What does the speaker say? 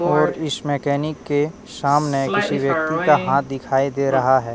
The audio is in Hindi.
और इस मैकेनिक के सामने किसी व्यक्ति का हाथ दिखाई दे रहा है।